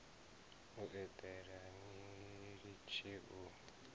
u eḓela ni litshe u